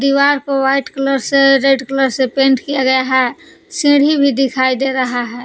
दीवार को white colour से रेड कलर से पेंट किया गया है सीढ़ि भी दिखाई दे रहा है।